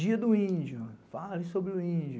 Dia do índio, fale sobre o índio.